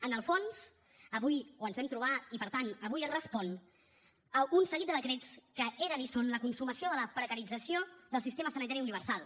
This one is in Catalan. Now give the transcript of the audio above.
en el fons avui ho ens hem trobat i per tant avui es respon a un seguit de decrets que eren i són la consumació de la precarització del sistema sanitari universal